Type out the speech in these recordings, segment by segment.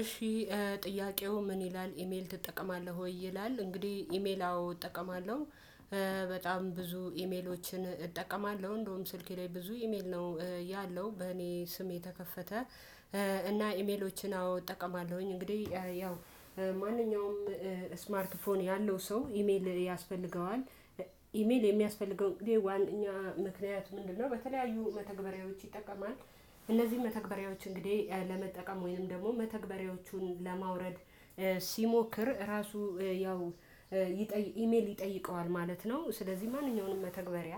እሺ ጥያቄው ምን ይላል ኢሜል ትጠቀማለህ ወይ ይላል? እንግዲህ ኢሜል አዎ እጠቀማለሁ። በጣም ብዙ ኢሜሎችን እጠቀማለሁ እንደውም ስልኬ ላይ ብዙ ኢሜል ነው ያለው በእኔ ስም የተከፈተ እና ኢሜሎችን አዎ እጠቀማለሁኝ እንግዲህ ያው ማንኛውም ስማርት ፎን ያለው ሰው ኢሜል ያስፈልገዋል። ኢሜል የሚያስፈልገው እንግዲህ ዋናኛ ምክንያት ምንድነው? በተለያዩ መተግበሪያዎች ይጠቀማል እነዚህን መተግበሪያዎች እንግዲህ ለመጠቀም ወይንም ደግሞ መተግበሪያዎቹን ለማውረድ ሲሞክር ራሱ ያው ይጠይ ኢሜል ይጠይቀዋል ማለት ነው። ስለዚህ ማንኛውንም መተግበሪያ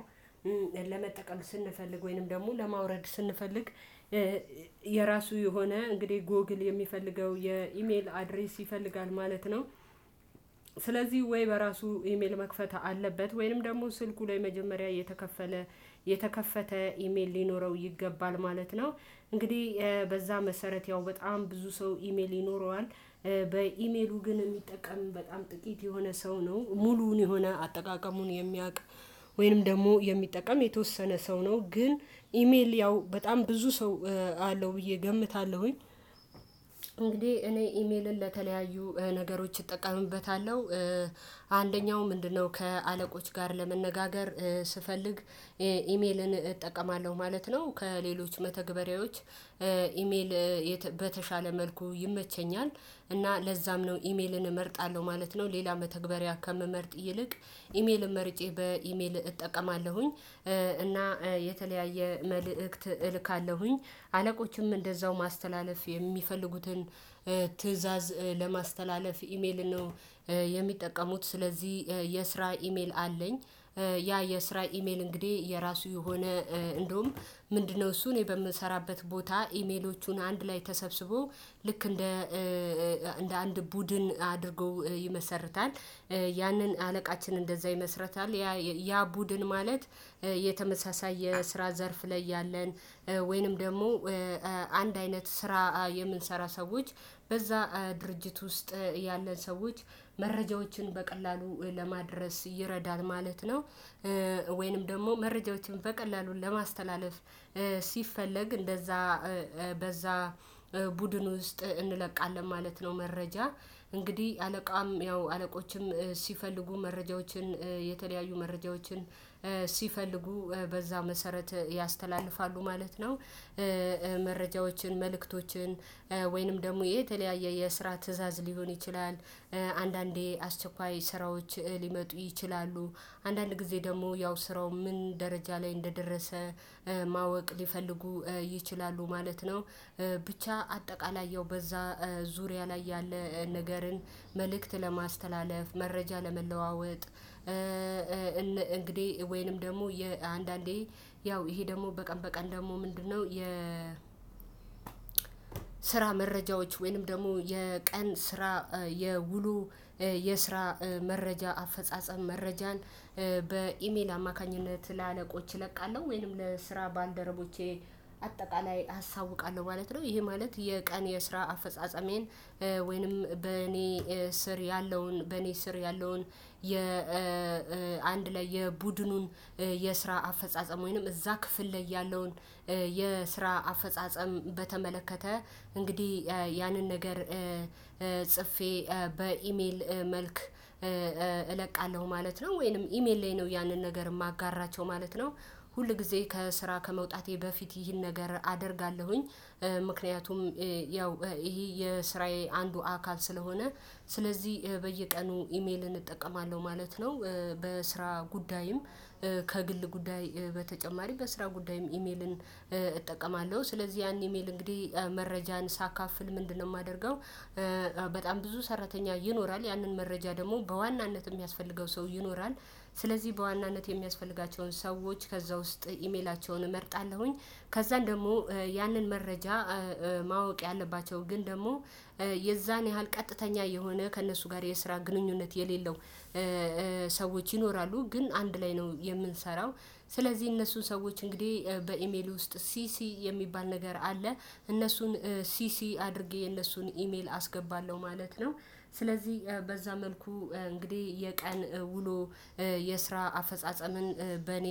ለመጠቀም ስንፈልግ ወይንም ደግሞ ለማውረድ ስንፈልግ የራሱ የሆነ እንግዲህ ጎግል የሚፈልገው የኢሜል አድሬስ ይፈልጋል ማለት ነው። ስለዚህ ወይ በራሱ ኢሜል መክፈት አለበት ወይንም ደግሞ ስልኩ ላይ መጀመሪያ የተከፈለ የተከፈተ ኢሜል ሊኖረው ይገባል ማለት ነው። እንግዲህ በዛ መሰረት ያው በጣም ብዙ ሰው ኢሜል ይኖረዋል። በኢሜሉ ግን የሚጠቀም በጣም ጥቂት የሆነ ሰው ነው ሙሉውን የሆነ አጠቃቀሙን የሚያውቅ። ወይም ደግሞ የሚጠቀም የተወሰነ ሰው ነው ግን ኢሜል ያው በጣም ብዙ ሰው አለው ብዬ እገምታለሁኝ። እንግዲህ እኔ ኢሜልን ለተለያዩ ነገሮች እጠቀምበታለሁ። አንደኛው ምንድነው ከአለቆች ጋር ለመነጋገር ስፈልግ ኢሜልን እጠቀማለሁ ማለት ነው። ከሌሎች መተግበሪያዎች ኢሜል በተሻለ መልኩ ይመቸኛል። እና ለዛም ነው ኢሜልን እመርጣለሁ ማለት ነው። ሌላ መተግበሪያ ከምመርጥ ይልቅ ኢሜልን መርጬ በኢሜል እጠቀማለሁኝ። እና የተለያየ መልእክት እልካለሁኝ። አለቆችም እንደዛው ማስተላለፍ የሚፈልጉትን ትእዛዝ ለማስተላለፍ ኢሜልን ነው የሚጠቀሙት። ስለዚህ የስራ ኢሜል አለኝ። ያ የስራ ኢሜል እንግዲህ የራሱ የሆነ እንደውም ምንድነው? እሱ እኔ በምሰራበት ቦታ ኢሜሎቹን አንድ ላይ ተሰብስቦ ልክ እንደ እንደ አንድ ቡድን አድርጎ ይመሰርታል። ያንን አለቃችን እንደዛ ይመስርታል። ያ ያ ቡድን ማለት የተመሳሳይ የስራ ዘርፍ ላይ ያለን ወይንም ደግሞ አንድ አይነት ስራ የምንሰራ ሰዎች በዛ ድርጅት ውስጥ ያለን ሰዎች መረጃዎችን በቀላሉ ለማድረስ ይረዳል ማለት ነው። ወይንም ደግሞ መረጃዎችን በቀላሉ ለማስተላለፍ ሲፈለግ እንደዛ በዛ ቡድን ውስጥ እንለቃለን ማለት ነው። መረጃ እንግዲህ አለቃም ያው አለቆችም ሲፈልጉ መረጃዎችን የተለያዩ መረጃዎችን ሲፈልጉ በዛ መሰረት ያስተላልፋሉ ማለት ነው። መረጃዎችን መልእክቶችን ወይንም ደግሞ የተለያየ የስራ ትእዛዝ ሊሆን ይችላል። አንዳንዴ አስቸኳይ ስራዎች ሊመጡ ይችላሉ። አንዳንድ ጊዜ ደግሞ ያው ስራው ምን ደረጃ ላይ እንደደረሰ ማወቅ ሊፈልጉ ይችላሉ ማለት ነው። ብቻ አጠቃላይ ያው በዛ ዙሪያ ላይ ያለ ነገርን መልእክት ለማስተላለፍ መረጃ ለመለዋወጥ እንግዲህ ወይንም ደግሞ አንዳንዴ ያው ይሄ ደግሞ በቀን በቀን ደግሞ ምንድነው የ ስራ መረጃዎች ወይንም ደግሞ የቀን ስራ የውሎ የስራ መረጃ አፈጻጸም መረጃን በኢሜል አማካኝነት ለአለቆች እለቃለሁ ወይንም ለስራ ባልደረቦቼ አጠቃላይ አሳውቃለሁ ማለት ነው። ይሄ ማለት የቀን የስራ አፈጻጸሜን ወይንም በእኔ ስር ያለውን በእኔ ስር ያለውን የ አንድ ላይ የቡድኑን የስራ አፈጻጸም ወይንም እዛ ክፍል ላይ ያለውን የስራ አፈጻጸም በተመለከተ እንግዲህ ያንን ነገር ጽፌ በኢሜል መልክ እለቃለሁ ማለት ነው። ወይንም ኢሜል ላይ ነው ያንን ነገር የማጋራቸው ማለት ነው። ሁል ጊዜ ከስራ ከመውጣቴ በፊት ይህን ነገር አደርጋለሁኝ። ምክንያቱም ያው ይሄ የስራዬ አንዱ አካል ስለሆነ ስለዚህ በየቀኑ ኢሜልን እጠቀማለሁ ማለት ነው። በስራ ጉዳይም ከግል ጉዳይ በተጨማሪ በስራ ጉዳይም ኢሜልን እጠቀማለሁ ስለዚህ ያንን ኢሜል እንግዲህ መረጃን ሳካፍል ምንድነው የማደርገው? በጣም ብዙ ሰራተኛ ይኖራል ያንን መረጃ ደግሞ በዋናነት የሚያስፈልገው ሰው ይኖራል። ስለዚህ በዋናነት የሚያስፈልጋቸውን ሰዎች ከዛ ውስጥ ኢሜላቸውን እመርጣለሁኝ። ከዛም ደግሞ ያንን መረጃ ማወቅ ያለባቸው ግን ደግሞ የዛን ያህል ቀጥተኛ የሆነ ከእነሱ ጋር የስራ ግንኙነት የሌለው ሰዎች ይኖራሉ ግን አንድ ላይ ነው የምንሰራው። ስለዚህ እነሱን ሰዎች እንግዲህ በኢሜሉ ውስጥ ሲሲ የሚባል ነገር አለ። እነሱን ሲሲ አድርጌ የነሱን ኢሜል አስገባለሁ ማለት ነው። ስለዚህ በዛ መልኩ እንግዲህ የቀን ውሎ የስራ አፈጻጸምን በእኔ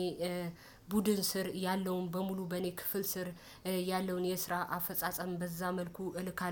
ቡድን ስር ያለውን በሙሉ በእኔ ክፍል ስር ያለውን የስራ አፈጻጸም በዛ መልኩ እልካለሁ